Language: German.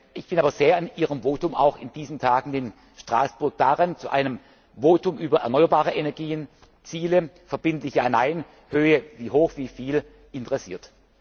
kommen muss. Ich bin aber sehr an Ihrem Votum auch in diesen Tagen in Straßburg an einem Votum über erneuerbare Energien, Ziele, verbindlich ja oder nein, Höhe, wie hoch, wie viel